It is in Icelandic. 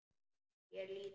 Ég er lítil.